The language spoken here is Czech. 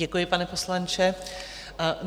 Děkuji, pane poslanče.